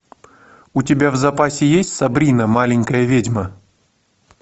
у тебя в запасе есть сабрина маленькая ведьма